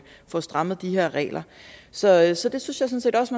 få strammet de her regler så jeg synes sådan set også